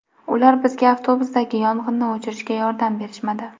Ular bizga avtobusdagi yong‘inni o‘chirishga yordam berishmadi!